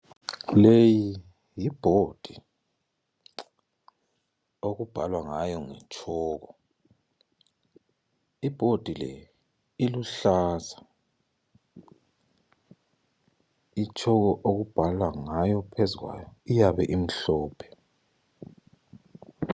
Leyi yi bhodi okubhalwa ngayo ngetshoko, ibhodi le iluhlaza, itshoko okubhalwa ngayo phezu kwayo iyabe imhlophe